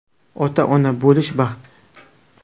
Ota-ona bo‘lish baxt.